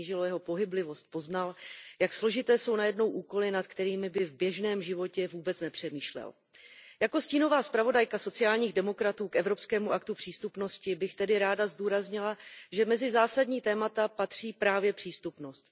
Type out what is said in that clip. snížilo jeho pohyblivost, poznal, jak složité jsou najednou úkoly, nad kterými by v běžném životě vůbec nepřemýšlel. Jako stínová zpravodajka sociálních demokratů k Evropskému aktu přístupnosti bych tedy ráda zdůraznila, že mezi zásadní témata patří právě přístupnost.